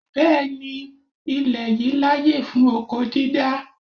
Bẹẹni, ilè yìí láyè fún oko dídá.